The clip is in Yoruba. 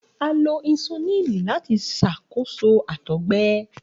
A lo insulini lati ṣakoso àtọgbẹ